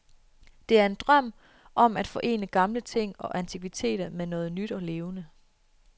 Det er en drøm om at forene gamle ting og antikviteter med noget nyt og levende.